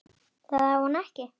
Það á hún ekki.